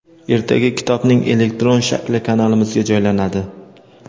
ertaga kitobning elektron shakli kanalimizga joylanadi.